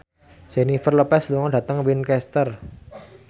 Jennifer Lopez lunga dhateng Winchester